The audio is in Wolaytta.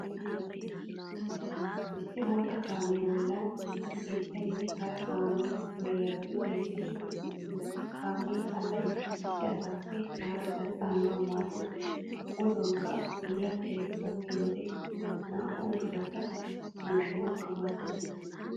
Issi bootta kaamiya bolli cishshaynne hara kaamiya puullayiyabati beettoosona. Kaamee asaa issisaappe harasaa cananawu maaddes gujuwankka bullachchay gakkiyo wode naa'u mushurata yuushshanawukka maaddes.